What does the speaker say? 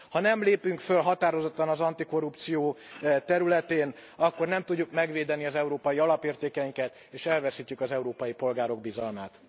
Ha nem lépünk föl határozottan az antikorrupció területén akkor nem tudjuk megvédeni az európai alapértékeinket, és elveszítjük az európai polgárok bizalmát.